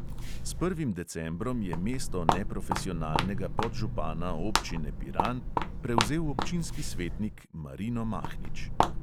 S prvim decembrom je mesto neprofesionalnega podžupana občine piran prevzel občinski svetnik marino mahnič.